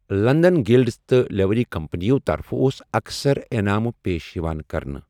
London guilds تہٕ livery کمپنیَو طرفہٕ اوس اَکثر انعامہٕ پیش یِوان کرنہٕ۔